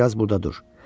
Bir az burada dur.